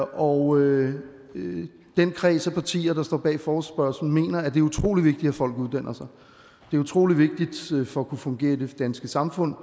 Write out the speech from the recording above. og den kreds af partier der står bag forespørgslen mener at det er utrolig vigtigt at folk uddanner sig det er utrolig vigtigt for at kunne fungere i det danske samfund